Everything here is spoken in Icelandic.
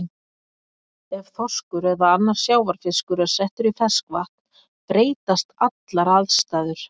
Ef þorskur eða annar sjávarfiskur er settur í ferskvatn breytast allar aðstæður.